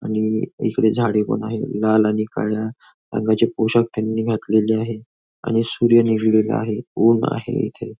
आणि इकडे झाडे पण आहेत लाल आणि काळ्या रंगाचे पोशाख त्यांनी घातलेले आहे आणि सूर्य निघालेला आहे ऊन आहे इथे.